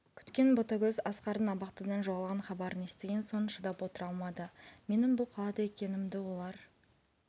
күткен ботагөз асқардың абақтыдан жоғалған хабарын естіген соң шыдап отыра алмады менің бұл қалада екенімді олар